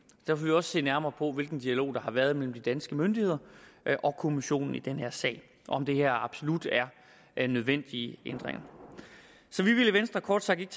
derfor vil vi også se nærmere på hvilken dialog der har været mellem de danske myndigheder og kommissionen i den her sag og om det her absolut er nødvendige ændringer så vi vil i venstre kort sagt ikke